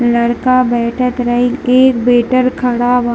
लड़का बैएठत रही एक वेटर खड़ा बा।